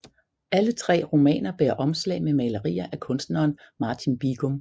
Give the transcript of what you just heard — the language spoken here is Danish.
Alle tre romaner bærer omslag med malerier af kunstneren Martin Bigum